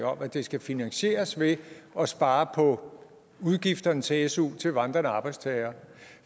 om at det skal finansieres ved at spare på udgifterne til su til vandrende arbejdstagere